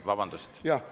Vabandust!